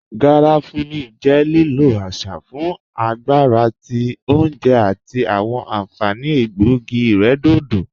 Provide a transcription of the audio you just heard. Garafuni jẹ lílọ̀ àṣà fún agbàrà tí ọ̀unjè àti awọn ànfaní ègbọ̀ogí-ìrẹ̀dọ̀dọ̀